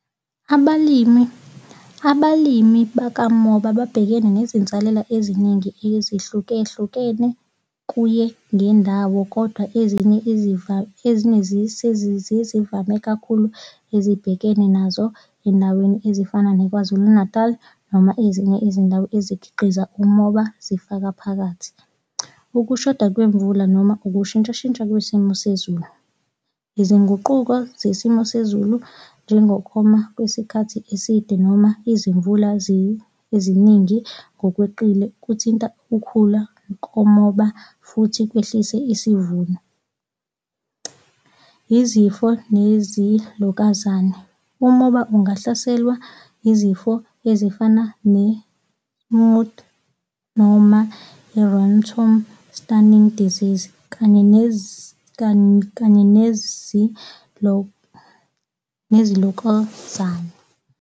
Abalimi, abalimi bakamoba babhekene nezinsalela eziningi ezahlukehlukene kuye ngendawo kodwa ezinye ezinye ezivame kakhulu ezibhekene nazo endaweni ezifana nakwaZulu Natal noma ezinye izindawo ezikhiqiza umoba zifaka phakathi. Ukushoda kwemvula noma ukushintshashintsha kwesimo sezulu. Izinguquko zesimo sezulu, njengokoma kwesikhathi eside noma izimvula eziningi ngokweqile kuthinta ukhula komoba futhi kwehlise isivuno. Izifo nezimvukuzane. Umoba ungahlaselwa izifo ezifana ne-smut noma i-ratoon stunting disease kanye kanye .